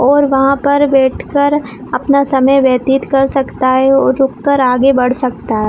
और वहाँ पर बैठकर अपना समय व्यतीत कर सकता है और रुक कर आगे बढ़ सकता हैं।